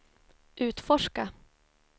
utforska